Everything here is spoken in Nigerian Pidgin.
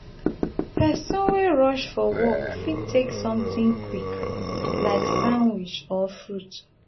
pesin wey rush for work fit take something quick like sandwich or fruit.